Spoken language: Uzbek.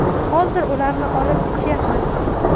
Hozir ularni olib ichyapman.